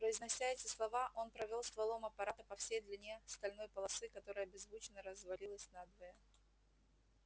произнося эти слова он провёл стволом аппарата по всей длине стальной полосы которая беззвучно развалилась надвое